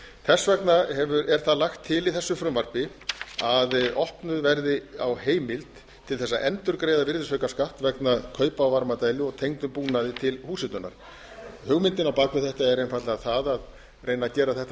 þess vegna er það lagt til í þessu frumvarpi að opnað verði á heimild til þess að endurgreiða virðisaukaskatt vegna kaupa á varmadælu og tengdum búnaði til húshitunar hugmyndin á bak við þetta er einfaldlega það að reyna að gera þetta